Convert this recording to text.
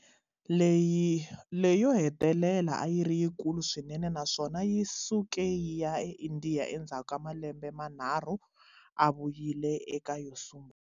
Leyo hetelela a yi ri yikulu swinene naswona yi suke yi ya eIndiya endzhaku ka malembe manharhu a vuyile eka yo sungula.